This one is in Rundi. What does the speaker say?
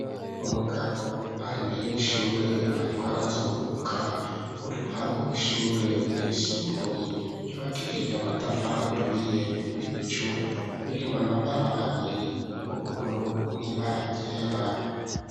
Umugabo ari imbere y'ishure ariko arazunguruka urupangu rw'ishure ryisumbuye ryubakishije amatafari aturiye, ibicu birimwo amabara abiri: ubururu n'ibara ryera.